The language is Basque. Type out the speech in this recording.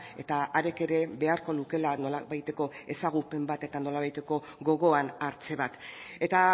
eta hark ere beharko lukeela nolabaiteko ezagupen bat eta nolabaiteko gogoan hartze bat eta